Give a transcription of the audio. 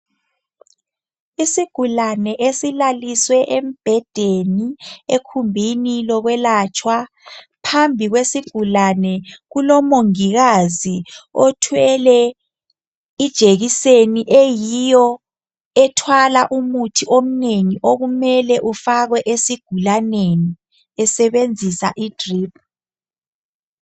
isigulane esilaliswe embhedeni egumbini lokwelatshwa phambi kwesigulane kulomongikazi othwele ijekiseni eyiyo ethwala umuthi omnengi okumele ufakwe esigulaneni esebenzisa i drip